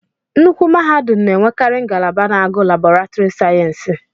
Nnukwu mahadum n'enwekari ngalaba na-agụ Laboretiri sayensị.